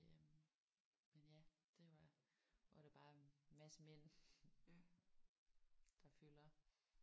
Øh men ja det var hvor der bare er en masse mænd der fylder